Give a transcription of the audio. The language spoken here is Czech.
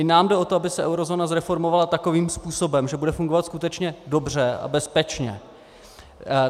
I nám jde o to, aby se eurozóna zreformovala takovým způsobem, že bude fungovat skutečně dobře a bezpečně.